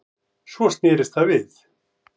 Svo snerist það við